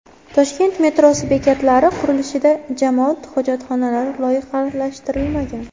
Toshkent metrosi bekatlari qurilishida jamoat hojatxonalari loyihalashtirilmagan.